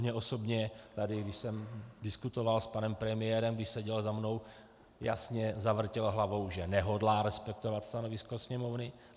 Mně osobně tady, když jsem diskutoval s panem premiérem, když seděl za mnou, jasně zavrtěl hlavou, že nehodlá respektovat stanovisko Sněmovny.